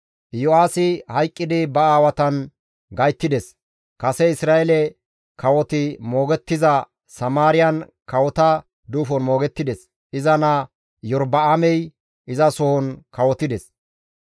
Yo7aasi hayqqidi ba aawatan gayttides; kase Isra7eele kawoti moogettiza Samaariyan kawota duufon moogettides; iza naa Iyorba7aamey izasohon kawotides.